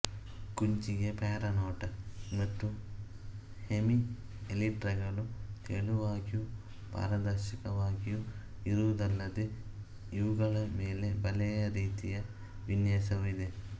ಕುಂಚಿಗೆ paranota ಮತ್ತು ಹೆಮಿಎಲಿಟ್ರಗಳು ತೆಳುವಾಗಿಯೂ ಪಾರದರ್ಶಕವಾಗಿಯೂ ಇರುವುವಲ್ಲದೆ ಇವುಗಳ ಮೇಲೆ ಬಲೆಯ ರೀತಿಯ ವಿನ್ಯಾಸವೂ ಇದೆ